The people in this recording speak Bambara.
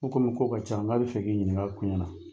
N ko komi ko ka ca n k'a bɛ fɛ k'i ɲininka a koɲɛ na.